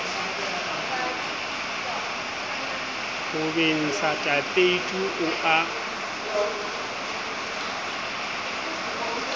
ho bentsha tapeiti o a